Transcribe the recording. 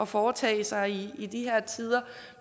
foretage sig i i de her tider